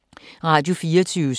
Radio24syv